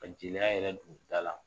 Ka jeliya yɛrɛ don da la .